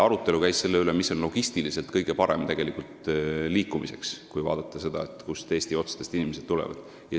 Arutelu käis selle üle, mis on liikumise mõttes, logistiliselt kõige parem, kui vaadata seda, kust Eesti otstest inimesed tulevad.